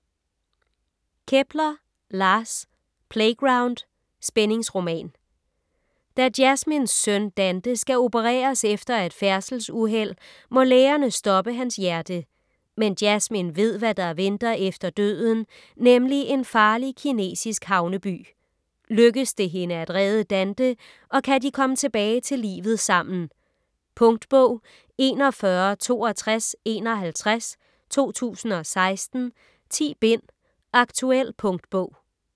Kepler, Lars: Playground: spændingsroman Da Jasmins søn Dante skal opereres efter et færdselsuheld, må lægerne stoppe hans hjerte. Men Jasmin ved hvad der venter efter døden, nemlig en farlig, kinesisk havneby. Lykkes det hende at redde Dante, og kan de komme tilbage til livet sammen? Punktbog 416251 2016. 10 bind. Aktuel punktbog